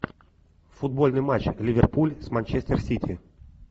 футбольный матч ливерпуль с манчестер сити